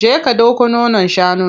Je ka ɗauko nonon shanun.